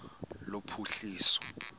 lophuhliso